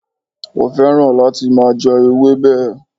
Ó fẹ́ràn láti máa je ewébè